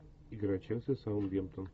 игра челси саутгемптон